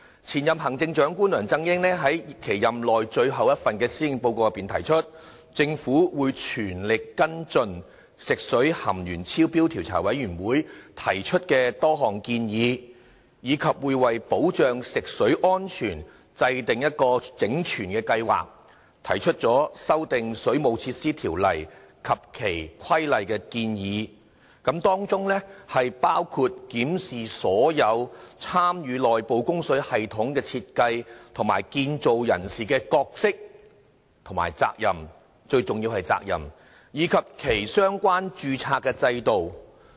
前行政長官梁振英在其任內最後一份施政報告內提出，政府會全力跟進食水含鉛超標調查委員會提出的多項建議，以及為保障食水安全制訂整全計劃，提出修訂《水務設施條例》及其規例的建議，當中包括檢視所有參與內部供水系統的設計和建造人士的角色和責任——最重要的是責任，以及其相關註冊的制度。